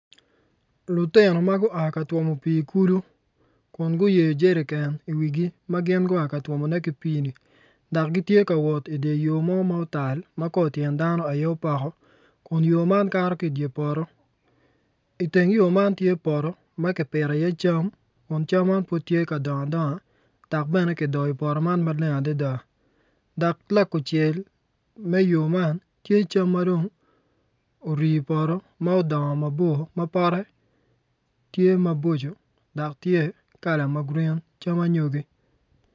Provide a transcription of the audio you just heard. Lutino ma gua ka twomo pii i kulu kun gin guyeyo jerikan i wigi ma gua ka twomone ki pii ni dok gitye ka wot i yo mo ma otal ma kor tyen dano aye ma opoko kun yo man kato ki i dye poto i teng yo ma tye poto ma kipito iye cam kun cam man pud tye ka dongo adonga dok bene kidoyo poto man maleng adada dok lakucel me yo man tye cam madwongo orii i poto ma pote tye maboco tye cam anyogi.